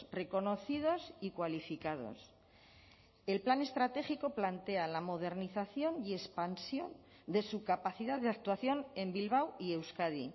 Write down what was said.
reconocidos y cualificados el plan estratégico plantea la modernización y expansión de su capacidad de actuación en bilbao y euskadi